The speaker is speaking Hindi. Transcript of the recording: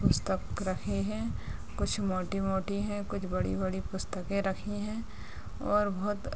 पुस्तक रखे हैं कुछ मोटे-मोटे हैं कुछ बड़े-बड़े पुस्तके रखी हैं और बहुत --